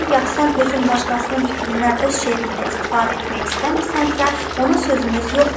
"Hərgah sən özün başqasının fikrindən öz şeirində istifadə etmək istəmirsənsə, onun sözümüz yoxdur.